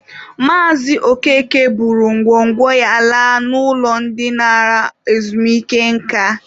Maazị Okeke buru ngwo ngwo ya laa n'ụlọ ndị nara ezumike nka.